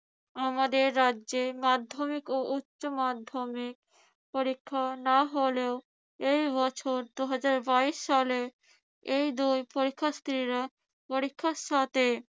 আমাদের রাজ্যে মাধ্যমিক ও উচ্যমাধ্যমিক পরীক্ষা না হলেও এই বছর দুহাজার বাইশ সালে এই দুই পরীক্ষার্থীরা পরীক্ষার সাথে